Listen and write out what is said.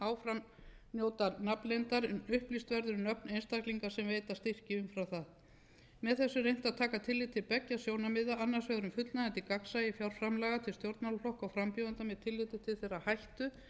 áfram njóta nafnleyndar en upplýst verður um nöfn einstaklinga sem veita styrki umfram það með þessu er reynt að taka tillit til beggja sjónarmiða annars vegar um fullnægjandi gagnsæi fjárframlaga til stjórnmálaflokka og frambjóðenda með tilliti til þeirrar hættu